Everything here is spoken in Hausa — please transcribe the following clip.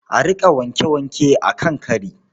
A riƙa wanke-wanke a kan kari.